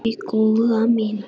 Nei, góða mín.